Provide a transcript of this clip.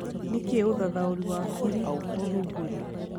nĩ kĩĩ ũthathaũri wa kĩri ũthumbũri